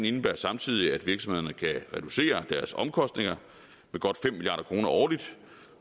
indebærer samtidig at virksomhederne kan reducere deres omkostninger med godt fem milliard kroner årligt